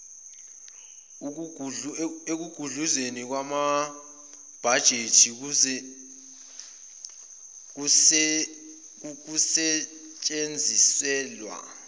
ekugudluzweni kwamabhajethi kukusetshenziselwa